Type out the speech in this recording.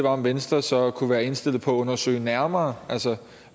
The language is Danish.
om venstre så kunne være indstillet på at undersøge nærmere